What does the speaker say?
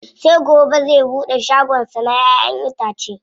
Sai gobe zai buɗe shagon sa na ƴa'ƴan itace.